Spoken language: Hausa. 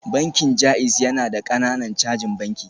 Bankin JAIZ yana da ƙananan cajin banki